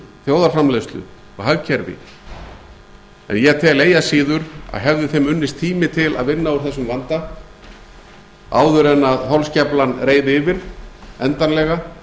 þjóðarframleiðslu og hagkerfi en ég tel eigi að síður að hefði þeim unnist tími til að vinna úr þessum vanda áður en holskeflan reið yfir endanlega